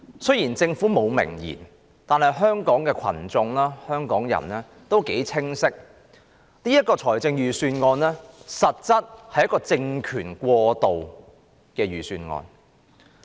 雖然政府沒有明言，但香港人清晰知道，這實質上是政權過渡的預算案。